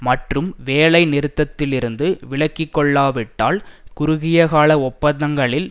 மற்றும் வேலை நிறுத்தத்திலிருந்து விலகிக்கொள்ளாவிட்டால் குறுகிய கால ஒப்பந்தங்களில்